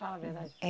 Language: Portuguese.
Fala a verdade. É